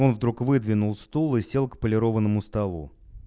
он вдруг выдвинул стул и сел к полированном столу